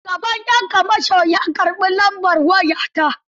Shugaban 'yan kamashon ya karɓi lambar waya ta.